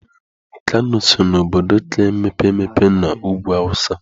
Kano so na obodo ka mepee emepe n'ugwu awụsa.